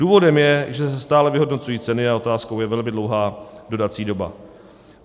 Důvodem je, že se stále vyhodnocují ceny a otázkou je velmi dlouhá dodací doba.